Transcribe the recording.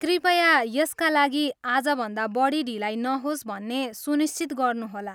कृपया यसका लागि आजभन्दा बढी ढिलाइ नहोस् भन्ने सुनिश्चित गर्नुहोला।